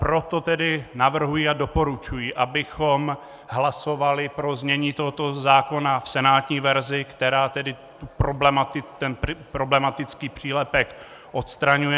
Proto tedy navrhuji a doporučuji, abychom hlasovali pro znění tohoto zákona v senátní verzi, která tedy ten problematický přílepek odstraňuje.